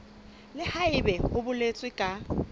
le haebe ho boletswe ka